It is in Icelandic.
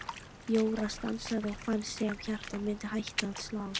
Jóra stansaði og fannst sem hjartað myndi hætta að slá.